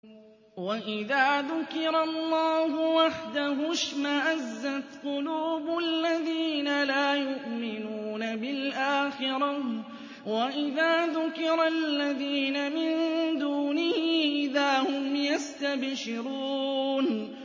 وَإِذَا ذُكِرَ اللَّهُ وَحْدَهُ اشْمَأَزَّتْ قُلُوبُ الَّذِينَ لَا يُؤْمِنُونَ بِالْآخِرَةِ ۖ وَإِذَا ذُكِرَ الَّذِينَ مِن دُونِهِ إِذَا هُمْ يَسْتَبْشِرُونَ